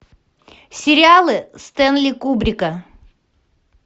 сериалы стенли кубрика